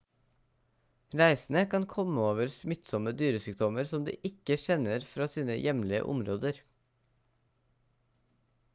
reisende kan komme over smittsomme dyresykdommer som de ikke kjenner fra sine hjemlige områder